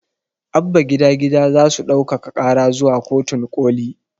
Abba gida gida zasu ɗaukaka ƙara zuwa kotun ƙoli